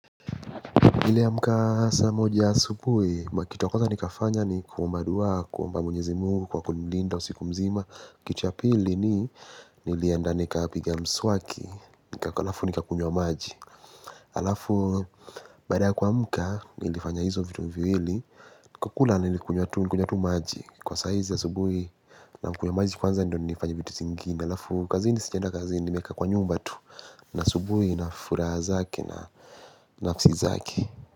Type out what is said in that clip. Niiliamka saa moja asubuhi, makitu ya kwanza nikafanya ni kuomba dua, kuomba mwenyezimungu kwa kunilinda usiku mzima. Kitu cha pili ni, nilienda nikapiga mswaki, nikaa alafu nikakunywa maji. Alafu, baada ya kuamka nilifanya hizo vitu viwili, kwa kula nilikunywa tu maji. Kwa saizi asubuhi nakunywa maji kwanza ndo nifanya vitu zingine. Alafu, kazini sijaenda kazini nimekaa kwa nyumba tu nasubuhi na furaha zake na nafsi zake.